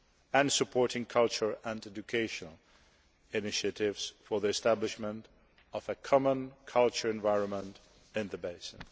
and supporting cultural and educational initiatives for the establishment of a common cultural environment in the basin.